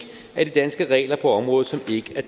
af de danske regler på området som ikke er